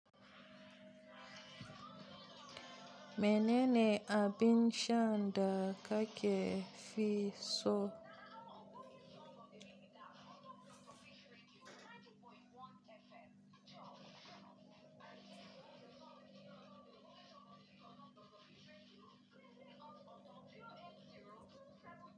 Menene abin shan da kake fi so?